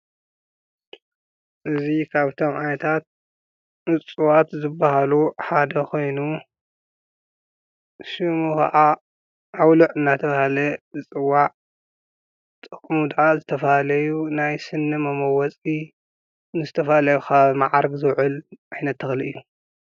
እዙይ ኻብቶም ዓይነታት እፅዋት ዘበሃሉ ሓደ ኾይኑ ሽሙ ኸዓ ዓውሊዕ እናተብሃለ ይጽዋዕ። ጥቕሙ ደማ ዝተፈላለዩ ናይ ስኒ መመወጺ ንዘተፋለዩ መዓር ዘውዕል ኣይነ ተኽሊ እዩ።